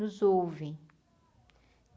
Nos ouvem.